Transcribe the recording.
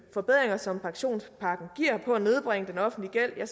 forbedringer som pensionspakken giver på at nedbringe den offentlige gæld